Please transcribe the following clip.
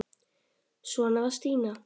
Svona var Stína.